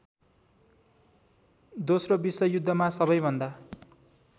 दोस्रो विश्वयुद्धमा सबैभन्दा